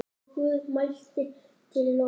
Og Guð mælti til Nóa